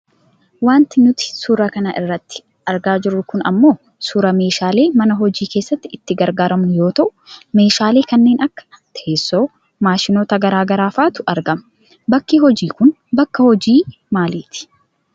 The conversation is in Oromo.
Wanti nuti suura kana irratti argaa jirru kun ammoo suuraa meeshaalee mana hojii keessatti itti gargaarramnu yoo ta'u, meeshaalee kanneen akka teessoo, maashinoota gara garaa faatu argama. Bakki hojiin kun bakka hojii maaliiti?